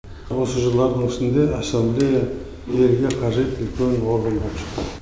осы жылдардың ішінде ассамблея елге қажет үлкен орган болып шықты